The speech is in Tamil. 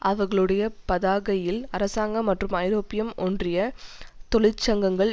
அவர்களுடைய பதாகையில் அரசாங்கம் மற்றும் ஐரோப்பிய ஒன்றிய தொழிற்சங்கங்கள்